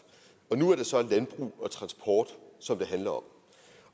og nu er det så landbrug og transport som det handler om